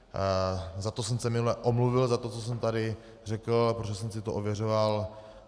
Za to jsem se minule omluvil, za to, co jsem tady řekl, protože jsem si to ověřoval.